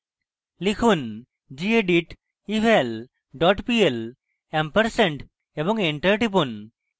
লিখুন: gedit eval dot pl ampersand এবং enter টিপুন